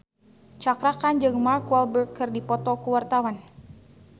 Cakra Khan jeung Mark Walberg keur dipoto ku wartawan